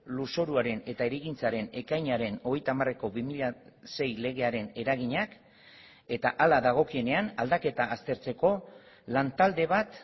lurzoruaren eta hirigintzaren ekainaren hogeita hamareko bi mila sei legearen eraginak eta hala dagokienean aldaketa aztertzeko lantalde bat